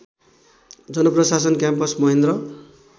जनप्रशासन campus Mahendra